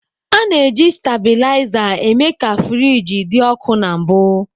A na-eji stabilizer eme ka friji dị ọkụ na mbụ.